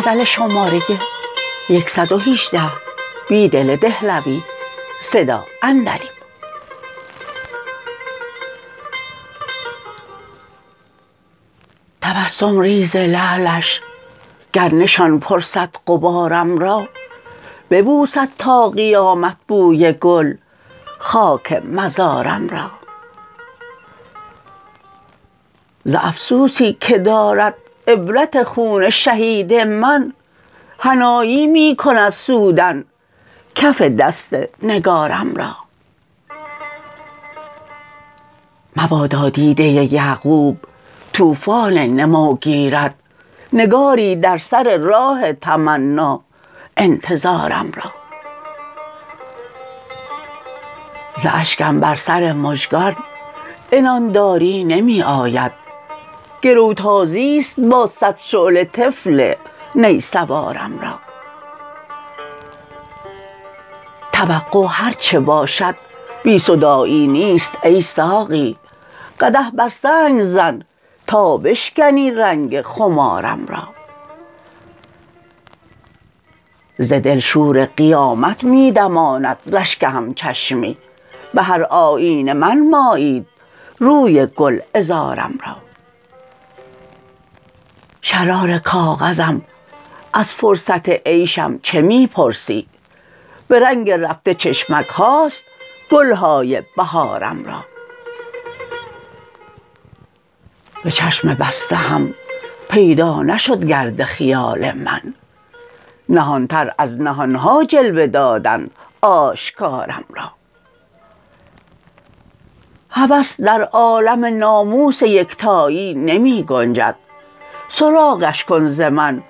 تبسم ریز لعلش گر نشان پرسد غبارم را ببوسد تا قیامت بوی گل خاک مزارم را ز افسوسی که دارد عبرت خون شهید من حنایی می کند سودن کف دست نگارم را مبادا دیده یعقوب توفان نموگیرد نگاری در سر راه تمنا انتظارم را ز اشکم بر سر مژگان عنان داری نمی آید گروتازی ست با صد شعله طفل نی سوارم را توقع هرچه باشد بی صداعی نیست ای ساقی قدح برسنگ زن تا بشکنی رنگ خمارم را ز دل شورقیامت می دماند رشک همچشمی به هر آیینه منمایید روی گلعذارم را شرارکاغذم از فرصت عیشم چه می پرسی به رنگ رفته چشمکهاست گلهای بهارم را به چشم بسته هم پیدا نشدگرد خیال من نهانتر از نهانها جلوه دادند آشکارم را هوس در عالم ناموس یکتایی نمی گنجد سراغش کن ز من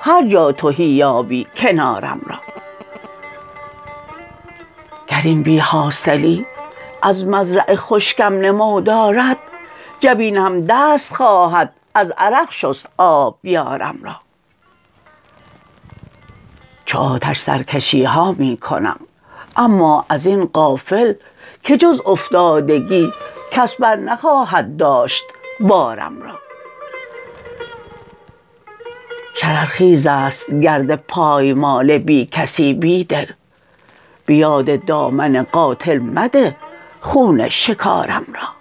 هرجا تهی یابی کنارم را گر این بیحاصلی از مزرع خشکم نمو دارد جبین هم دست خواهد از عرق شست آبیارم را چو آتش سرکشیها می کنم اما ازین غافل که جز افتادگی کس برنخواهد داشت بارم را شررخیزست گرد پایمال بیکسی بیدل به یاد دامن قاتل مده خون شکارم را